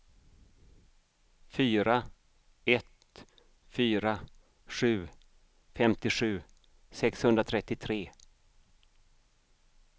fyra ett fyra sju femtiosju sexhundratrettiotre